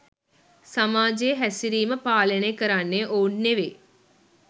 සමාජයේ හැසිරීම පාලනය කරන්නේ ඔවුන් නෙවෙයි